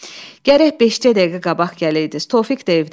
Gərək beş-cə dəqiqə qabaq gələydiniz.